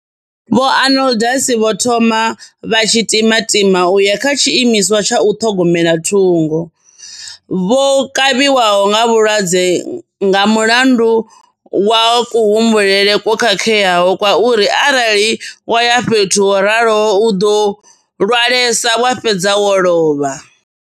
Vho Arnoldus vho thoma vha tshi timatima u ya kha tshiimiswa tsha u ṱhogomela thungo, vho kavhiwaho nga vhulwadze nga mulandu wa kuhumbulele kwo khakheaho kwa uri arali wa ya fhethu ho raloho u ḓo lwalesa wa fhedza wo lovha.